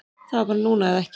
Það var bara núna eða ekki